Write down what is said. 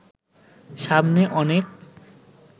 সামনে অনেক